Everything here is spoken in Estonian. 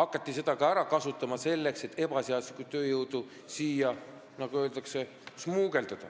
hakati seda ka ära kasutama, selleks et siia ebaseaduslikult tööjõudu smugeldada, nagu öeldakse.